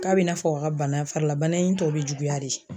K'a bina n'a fɔ a ka bana farila bana in tɔ bi juguya de